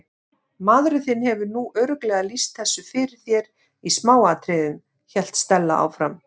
Maðurinn þinn hefur nú örugglega lýst þessu fyrir þér í smáatriðum- hélt Stella áfram.